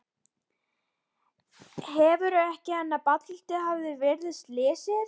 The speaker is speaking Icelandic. Heldurðu enn að Baddi hafi verið viðriðinn slysið?